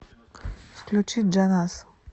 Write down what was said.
включи джаназ